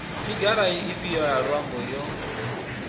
figara ifhio ya muambo yo